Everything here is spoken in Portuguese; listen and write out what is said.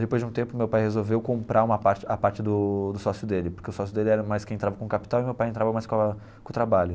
Depois de um tempo, meu pai resolveu comprar uma parte a parte do do sócio dele, porque o sócio dele era mais quem entrava com o capital e meu pai entrava mais com a com o trabalho.